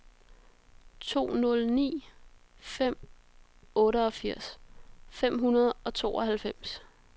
to nul ni fem otteogfirs fem hundrede og tooghalvfems